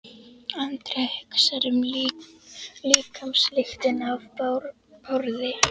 Andrea hugsar um líkamslyktina af Bárði.